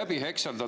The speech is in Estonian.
läbi hekseldada.